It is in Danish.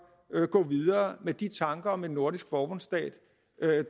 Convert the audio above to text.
gå videre med de tanker om en nordisk forbundsstat